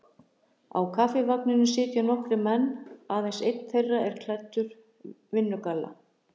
Á Kaffivagninum sitja nokkrir menn, aðeins einn þeirra er ekki klæddur vinnugalla.